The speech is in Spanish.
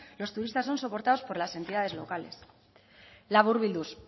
los turistas son soportados por las entidades locales laburbilduz